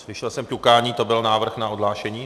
Slyšel jsem ťukání - to byl návrh na odhlášení?